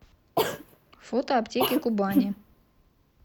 фото аптеки кубани